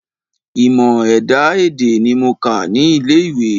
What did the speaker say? Ìmọ̀ ẹ̀dá-èdè ní mo kà ní ilé ìwé.